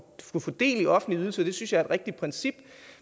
få del i offentlige ydelser det synes jeg er et rigtigt princip